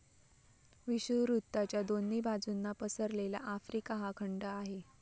विषुववृत्ताच्या दोन्ही बाजूंना पसरलेला आफ्रिका हा खंड आहे.